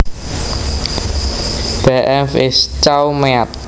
Beef is cow meat